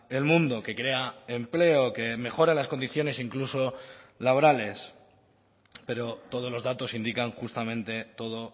el mundo que crea empleo que mejora las condiciones incluso laborales pero todos los datos indican justamente todo